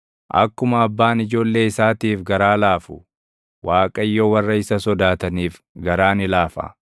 Akkuma abbaan ijoollee isaatiif garaa laafu, Waaqayyo warra isa sodaataniif garaa ni laafa;